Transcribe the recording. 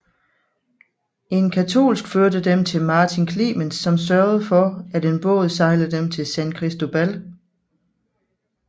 En katolsk førte dem til Martin Clemens som sørgede for at en båd sejlede dem til San Cristobal